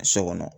So kɔnɔ